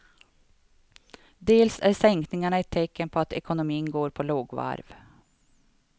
Dels är sänkningarna ett tecken på att ekonomin går på lågvarv.